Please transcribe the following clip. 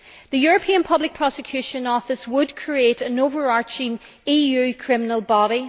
The European Public Prosecutor's Office would create an overarching EU criminal body.